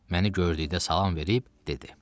Məni gördükdə salam verib dedi: